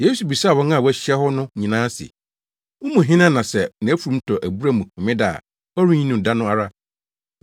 Yesu bisaa wɔn a wɔahyia wɔ hɔ no nyinaa se, “Mo mu hena na sɛ nʼafurum tɔ abura mu homeda a ɔrenyi no da no ara?”